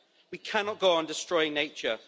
We cannot go on destroying nature.